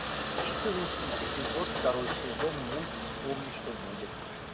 четырнадцатый эпизод второй сезон мульт вспомни что будет